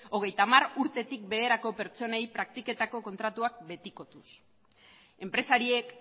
hogeita hamar urtetik beherako pertsonei praktiketako kontratuak betikotuz enpresariek